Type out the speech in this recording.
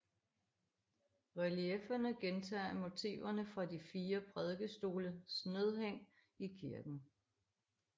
Reliefferne gentager motiverne fra de fire prædikestolsnedhæng i kirken